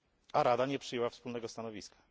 a Rada nie przyjęła wspólnego stanowiska.